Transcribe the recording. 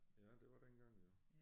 Ja det var dengang jo